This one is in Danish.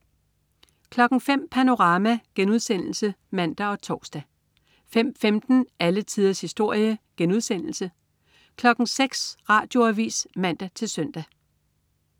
05.00 Panorama* (man og tors) 05.15 Alle tiders historie* 06.00 Radioavis (man-søn)